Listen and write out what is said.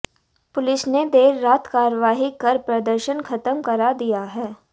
police ने देर रात कार्रवाई कर प्रदर्शन खत्म करा दिया है